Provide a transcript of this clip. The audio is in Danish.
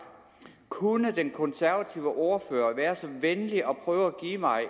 kunne den konservative ordfører være så venlig at prøve at give mig